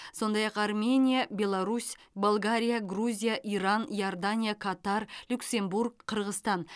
сондай ақ армения беларусь болгария грузия иран иордания катар люксембург қырғызстан